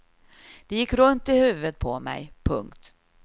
Det gick runt i huvudet på mig. punkt